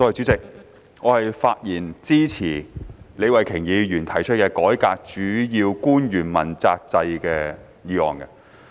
主席，我發言支持李慧琼議員提出的"改革主要官員問責制"的議案。